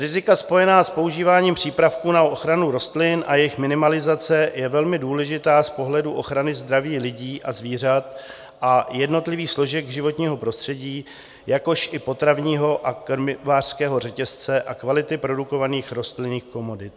Rizika spojená s používáním přípravků na ochranu rostlin a jejich minimalizace je velmi důležitá z pohledu ochrany zdraví lidí a zvířat a jednotlivých složek životního prostředí, jakož i potravního a krmivářského řetězce a kvality produkovaných rostlinných komodit.